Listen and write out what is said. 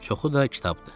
Çoxu da kitabdır.